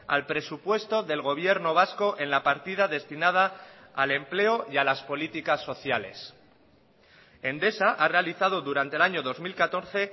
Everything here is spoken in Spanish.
al presupuesto del gobierno vasco en la partida destinada al empleo y a las políticas sociales endesa ha realizado durante el año dos mil catorce